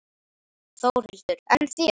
Þórhildur: En þér?